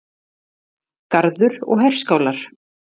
Garður og herskálar.